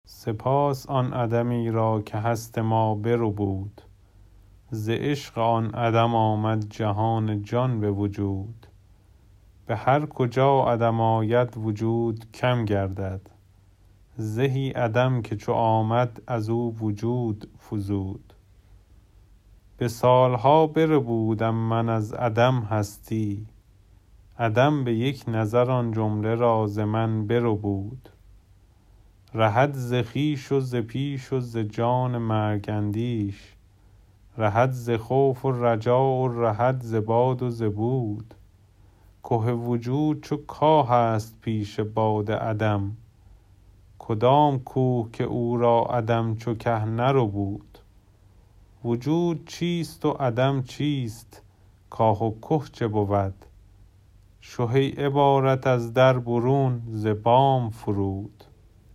سپاس آن عدمی را که هست ما بربود ز عشق آن عدم آمد جهان جان به وجود به هر کجا عدم آید وجود کم گردد زهی عدم که چو آمد از او وجود فزود به سال ها بربودم من از عدم هستی عدم به یک نظر آن جمله را ز من بربود رهد ز خویش و ز پیش و ز جان مرگ اندیش رهد ز خوف و رجا و رهد ز باد و ز بود که وجود چو کاهست پیش باد عدم کدام کوه که او را عدم چو که نربود وجود چیست و عدم چیست کاه و که چه بود شه ای عبارت از در برون ز بام فرود